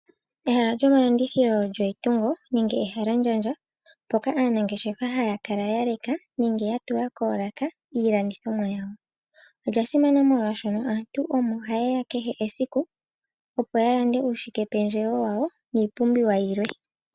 Ehala lyomalandithilo olyo etungo nenge ehalandjandja mpoka aanangeshefa haya kala ya leka nenge ya tula iilandithomwa yawo. Olya simana molwaashoka aantu omo ha yeya kehe esiku opo ya lande uushike pendjewo wawo niipumbiwa yilwe.